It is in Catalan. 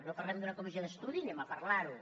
no parlem d’una comissió d’estudi anem a parlar ne